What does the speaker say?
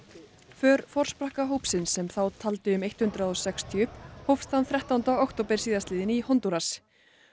för forsprakka hópsins sem þá taldi um hundrað og sextíu hófst þann þrettánda október síðastliðinn í Hondúras